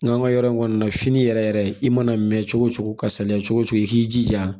N'an ka yɔrɔ in kɔni na fini yɛrɛ yɛrɛ i mana mɛn cogo cogo ka saliya cogo cogo i k'i jija